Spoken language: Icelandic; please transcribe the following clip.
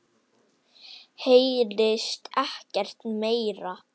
Heyrist ekkert meira.